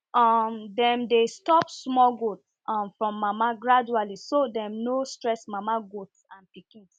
um them dey stop small goats um from mama gradually so dem no stress mama goat and pikins